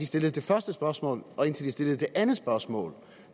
stillede det første spørgsmål og indtil de stillede det andet spørgsmål